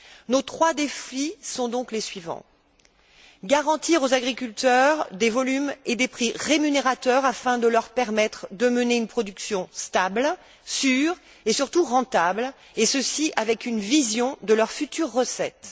Nos trois défis sont donc les suivants garantir aux agriculteurs des volumes et des prix rémunérateurs afin de leur permettre de mener une production stable, sûre et surtout rentable et ceci avec une vision de leurs futures recettes